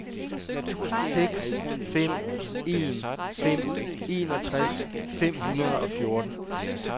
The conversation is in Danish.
seks fem en fem enogtres fem hundrede og fjorten